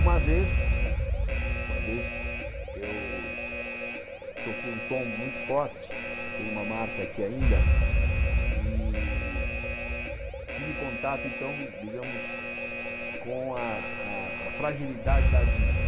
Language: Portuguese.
Uma vez eh uma vez, eu sofri um tom muito forte, tem uma marca aqui ainda, e tive contato, então, digamos, com a a a fragilidade da vida.